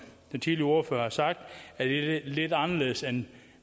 den tidligere ordførere har sagt lidt anderledes end